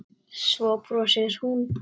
Svo brosir hún.